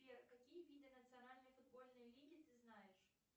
сбер какие виды национальной футбольной лиги ты знаешь